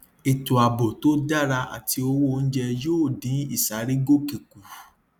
ètò ààbò tó dára àti owó oúnjẹ yóò dín ìsárégòkè kù